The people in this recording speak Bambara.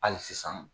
Hali sisan